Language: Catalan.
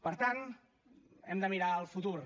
per tant hem de mirar al futur